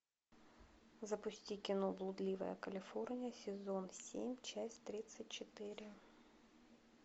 запусти кино блудливая калифорния сезон семь часть тридцать четыре